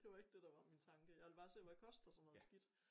Det var ikke det der var min tanke jeg ville bare se hvad koster sådan noget skidt